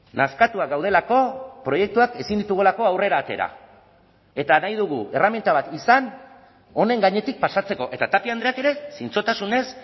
nazkatuak gaudelako proiektuak ezin ditugulako aurrera atera eta nahi dugu erreminta bat izan honen gainetik pasatzeko eta tapia andreak ere zintzotasunez